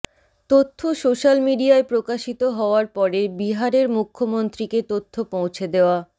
তথ্য সোশ্যাল মিডিয়ায় প্রকাশিত হওয়ার পরে বিহারের মুখ্যমন্ত্রীকে তথ্য পৌঁছে দেওয়া